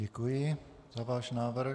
Děkuji za váš návrh.